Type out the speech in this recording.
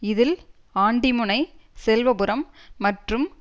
இதில் ஆண்டிமுனை செல்வபுரம் மற்றும்